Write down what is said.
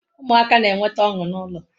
Umuaka na-enweta onu na ulo